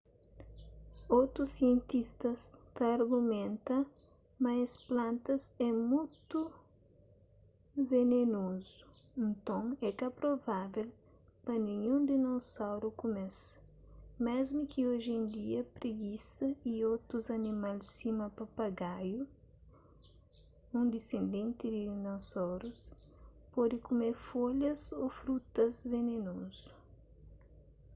otus sientista ta argumenta ma es plantas é mutu venenozu nton é ka provável pa ninhun dinosauru kume-s mésmu ki oji en dia pregisa y otus animal sima papagaiu un disendenti di dinosaurus pode kume folhas ô frutus venenozu